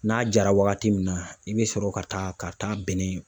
N'a jara wagati min na, i bɛ sɔrɔ ka taa ka taa bɛnɛ